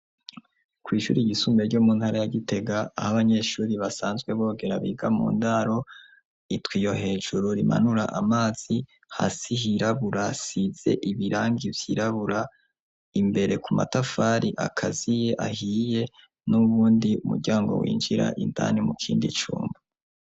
Kw'ishuri gisumbire ryo mu ntara ya Gitega aho banyeshuri basanzwe bogera biga mu ndaro, itwiyo hejuru rimanura amazi hasihirabura sitze ibirangi byirabura imbere ku matafari akazi ye ahiye nubundi umuryango winjira indani mu kindi cumba.